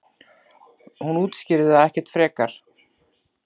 Hún útskýrir það ekkert frekar.